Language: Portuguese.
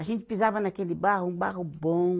A gente pisava naquele barro, um barro bom.